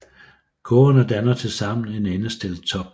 Kurvene danner tilsammen en endestillet top